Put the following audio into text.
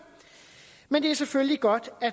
men det er selvfølgelig godt